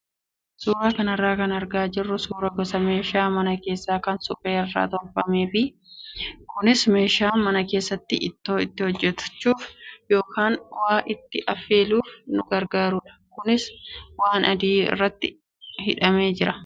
Suuraa kanarraa kan argaa jirru suuraa gosa meeshaa manaa keessaa kan suphee irraa tolfamee fi kunis meeshaa mana keessatti ittoo itti hojjachuu yookaan waa itti affeeluuf nu gargaarudha. Kunis waan adii irratti hidhamee jira.